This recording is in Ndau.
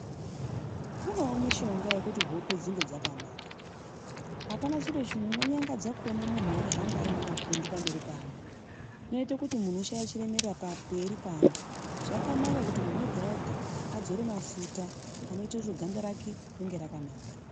Kunewo mishonge yekuti hope dzinge dzakanaka. Apana chiro chinonyangadza kuona muntu eihamba anemapundu pamberi peamweni, zvinoite kuti muntu ashaye chiremerera pamberi peantu. Zvakanaka kuti muntu ega-ega adzore mafuta, anoite kuti ganda rake ringe rakanaka.